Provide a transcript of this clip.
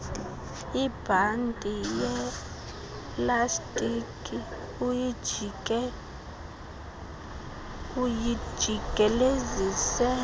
ibhanti yelastiki uyijikelezise